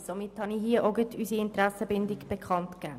Somit habe ich unsere Interessenbindung bekanntgegeben.